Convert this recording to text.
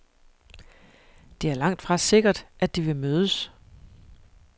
Det er langtfra sikkert, at de vil mødes.